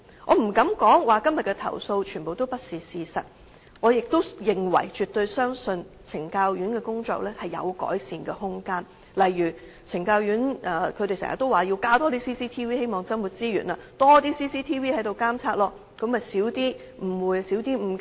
我不敢說今天的投訴全部不是事實，我亦認為及絕對相信懲教院所的工作有改善空間，例如懲教院所經常也說要增設 CCTV， 希望增撥資源，有更多 CCTV 監察，便可以減少誤會和誤解。